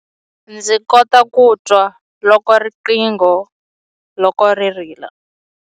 Ndzi kota ku twa riqingho loko ri rila.